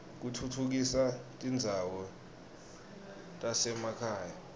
kutfutfukisa tindzawo tasema khaya